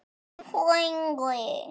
En, frændi